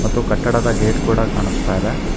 ಮತ್ತು ಕಟ್ಟಡದ ಗೇಟ್ ಕೂಡ ಕಾಣಸ್ತಾ ಇದೆ.